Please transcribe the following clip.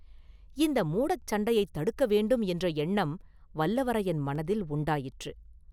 இந்த மூடச் சண்டையைத் தடுக்க வேண்டும் என்ற எண்ணம் வல்லவரையன் மனதில் உண்டாயிற்று.